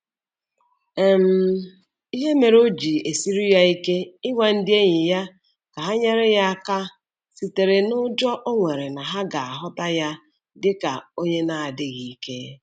um Ihe mere o ji esiri ya ike ịgwa ndị enyi ya ka ha nyere ya aka sitere n'ụjọ o nwere na ha ga-ahụta ya dị ka onye na-adịghị ike.